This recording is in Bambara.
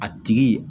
A tigi